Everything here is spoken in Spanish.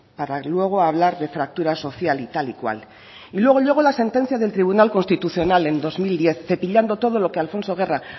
para luego hablar de fractura social y tal y cual y luego llegó la sentencia del tribunal constitucional en el dos mil diez cepillando todo lo que alfonso guerra